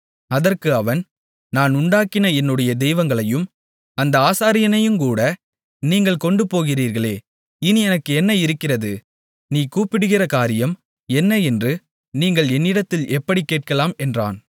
அதற்கு அவன் நான் உண்டாக்கின என்னுடைய தெய்வங்களையும் அந்த ஆசாரியனையுங்கூட நீங்கள் கொண்டு போகிறீர்களே இனி எனக்கு என்ன இருக்கிறது நீ கூப்பிடுகிற காரியம் என்ன என்று நீங்கள் என்னிடத்தில் எப்படிக் கேட்கலாம் என்றான்